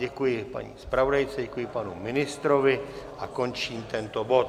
Děkuji paní zpravodajce, děkuji panu ministrovi a končím tento bod.